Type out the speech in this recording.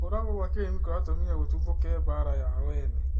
Kũragwo kwa Karĩmi kuratũmĩre gũtũthoke mbara ya o ene